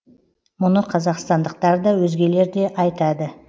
мұны қазақстандықтар да өзгелер де айтады